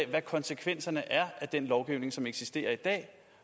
hvad konsekvenserne er af den lovgivning som eksisterer i dag